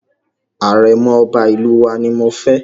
Àrẹ̀mọ̀ Ọba ìlú wa ni mo fẹ́.